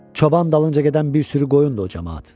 Çoban dalınca gedən bir sürü qoyundur o camaat.